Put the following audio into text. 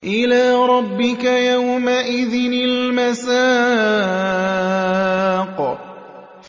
إِلَىٰ رَبِّكَ يَوْمَئِذٍ الْمَسَاقُ